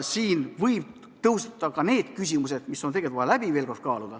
Siin võivad tõusta muudki küsimused, mis on tegelikult vaja veel kord läbi kaaluda.